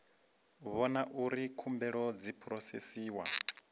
vhona uri khumbelo dzi phurosesiwa